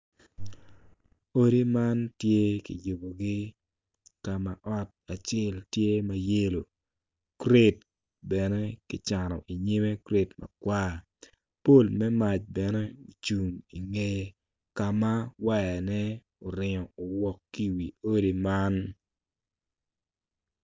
Odi man tye ki yubugi ka ot acel tye ma yelo gured bene kicano inyimme gured makwar pol me mac bene ocung ingeye ka ma wayane oringo owok ki i wi odi man